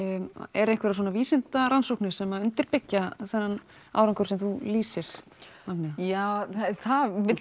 eru einhverjar vísindarannsóknir sem undirbyggja þennan árangur sem þú lýsir já það vill